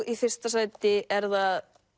í fyrsta sæti er það